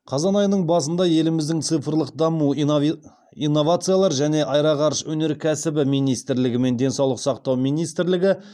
қазан айының басында еліміздің цифрлық даму инновациялар және аэроғарыш өнеркәсібі министрлігі мен денсаулық сақтау министрлігі